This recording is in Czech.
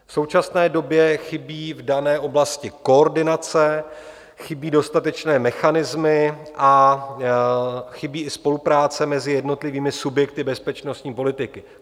V současné době chybí v dané oblasti koordinace, chybí dostatečné mechanismy a chybí i spolupráce mezi jednotlivými subjekty bezpečnostní politiky.